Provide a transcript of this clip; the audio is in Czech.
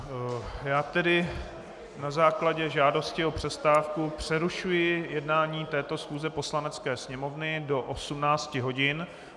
Já tedy na základě žádosti o přestávku přerušuji jednání této schůze Poslanecké sněmovny do 18 hodin.